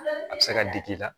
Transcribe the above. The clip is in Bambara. A bɛ se ka digi i la